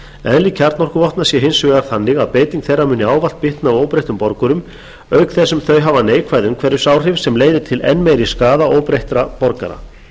eðli kjarnorkuvopna sé hins vegar þannig að beiting þeirra muni ávallt bitna á óbreyttum borgurum auk þess sem þau hafa neikvæð umhverfisáhrif sem leiði til enn meiri skaða óbreyttra borgara